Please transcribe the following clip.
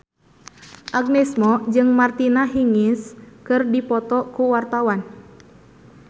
Agnes Mo jeung Martina Hingis keur dipoto ku wartawan